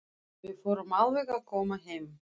Við förum alveg að koma heim.